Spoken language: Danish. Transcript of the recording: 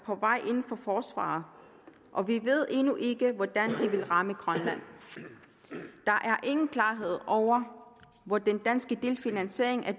på vej inden for forsvaret og vi ved endnu ikke hvordan de vil ramme grønland der er ingen klarhed over hvor den danske delfinansiering af